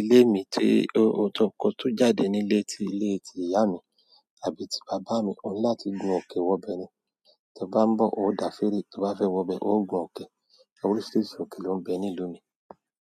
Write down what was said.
Ilé mi tí--o tó kọ̀ tó jáde nílé tí ilé tí ìyá mi àbí ti bàbá mi, ọ́ni láti gun òkè wọbẹ ni. Ti ọ bá ń bọ́, o o dá firii, ti ọ bá fẹ́ wọbẹ, o o gun ọke. Oríṣiríṣi òke ló ń bẹ ní ìlú mi.